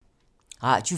Radio 4